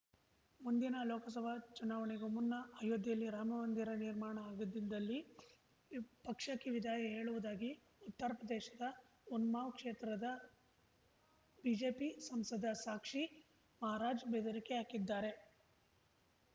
ಮುಂದಿನ ಲೋಕಸಭಾ ಚುನಾವಣೆಗೂ ಮುನ್ನ ಅಯೋಧ್ಯೆಯಲ್ಲಿ ರಾಮಮಂದಿರ ನಿರ್ಮಾಣ ಆಗದಿದ್ದಲ್ಲಿ ಪಕ್ಷಕ್ಕೆ ವಿದಾಯ ಹೇಳುವುದಾಗಿ ಉತ್ತರಪ್ರದೇಶದ ಉನ್ನಾವ್‌ ಕ್ಷೇತ್ರದ ಬಿಜೆಪಿ ಸಂಸದ ಸಾಕ್ಷಿ ಮಹಾರಾಜ್‌ ಬೆದರಿಕೆ ಹಾಕಿದ್ದಾರೆ